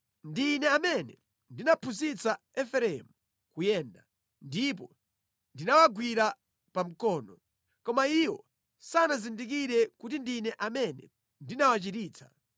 Ndi Ine amene ndinaphunzitsa Efereimu kuyenda, ndipo ndinawagwira pa mkono; koma iwo sanazindikire kuti ndine amene ndinawachiritsa.